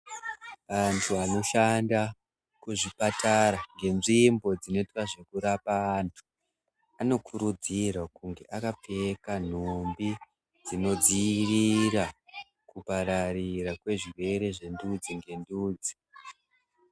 Antu anoshanda kuzvipatara ngenzvimbo dzinoita zvekurapwa antu anokurudzirwa kuti ange akapfeka nhumbi dzinodziirira kupararira kwezvirwere zvendudzi ngendudzi.